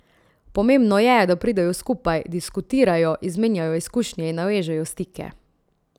Pomembno je, da pridejo skupaj, diskutirajo, izmenjajo izkušnje in navežejo stike.